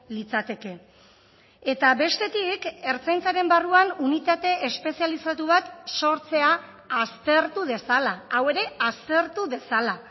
litzateke eta bestetik ertzaintzaren barruan unitate espezializatu bat sortzea aztertu dezala hau ere aztertu dezala